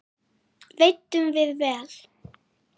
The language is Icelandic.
Veiddum við vel.